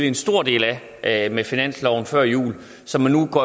en stor del af med finansloven før jul og som man nu går